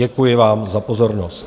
Děkuji vám za pozornost.